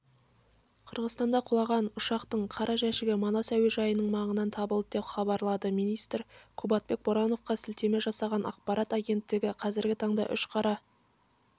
қырғызстанда құлаған ұшақтыңқара жәшігі манас әуежайының маңынан табылды деп хабарлады министрі кубатбек бороновқа сілтеме жасаған ақпарат агенттігі қазіргі таңда үш қара